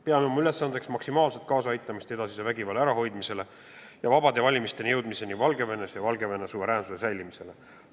Peame oma ülesandeks aidata maksimaalselt kaasa edasise vägivalla ärahoidmisele, vabade valimisteni jõudmisele ja Valgevene suveräänsuse säilimisele.